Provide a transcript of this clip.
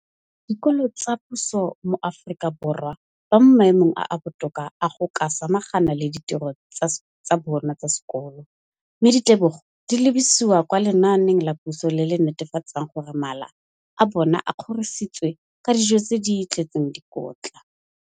Dikolo tsa puso mo Aforika Borwa ba mo maemong a a botoka a go ka samagana le ditiro tsa bona tsa sekolo, mme ditebogo di lebisiwa kwa lenaaneng la puso le le netefatsang gore mala a bona a kgorisitswe ka dijo tse di tletseng dikotla.